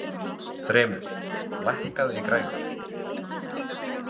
Þrymur, lækkaðu í græjunum.